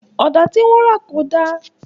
Ọ̀dà tí wọ́n rà kò dá